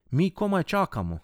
Mi komaj čakamo!